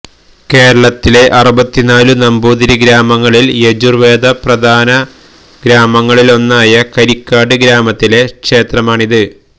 കേരളത്തിലെ അറുപത്തിനാലു നമ്പൂതിരി ഗ്രാമങ്ങളിൽ യജുർവേദ പ്രധാനഗ്രാമങ്ങളിലൊന്നായ കരിക്കാട് ഗ്രാമത്തിലെ ക്ഷേത്രമാണിത്